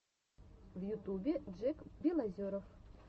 в ютубе джек белозеров